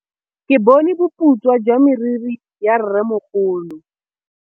Ke bone boputswa jwa meriri ya rrêmogolo.